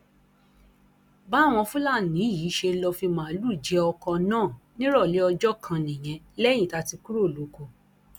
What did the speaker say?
báwọn fúlàní yìí ṣe lọ fi màlúù jẹ ọkọ náà nírọ̀lẹ́ ọjọ kan nìyí lẹ́yìn tá a ti kúrò lóko